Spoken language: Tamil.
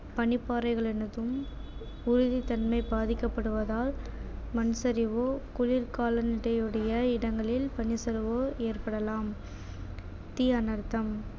பனிப்பாறைகள் உறுதித்தன்மை பாதிக்கப்படுவதால் மண்சரிவு குளிர்காலங்கள் உடைய இடங்களில் பனிச்சரிவு ஏற்படலாம் தீ அனர்த்தம்